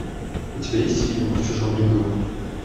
у тебя есть фильм в чужом ряду